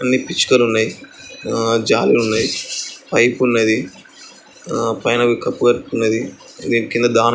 న్ని పిచ్చుకలు ఉన్నాయి. ఆ జాలిలు ఉన్నాయి . పైపు ఉన్నది. ఆ పైన వీకపు కనిపిత్త ఉన్నది. దీని కింద దానే ఉంది.